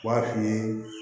B'a f'i ye